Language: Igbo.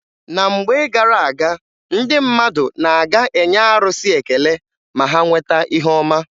Na mgbe gara aga, ndị mmadụ na-aga enye arụsị ekele ma ha nweta ihe ọma.